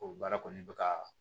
O baara kɔni bɛ ka